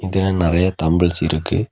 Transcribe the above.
இதுல நெறைய தம்பெல்ஸ் இருக்கு.